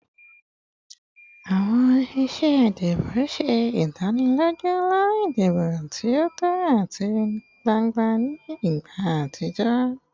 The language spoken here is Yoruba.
Awọn iṣe idibo ṣe idaniloju ilana idibo ti o tọ ati gbangba ni igba atijọ